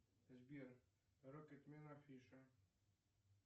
сбер рокетмен афиша